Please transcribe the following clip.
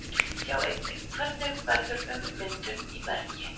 Sjá einnig: Hvernig verður ummyndun í bergi?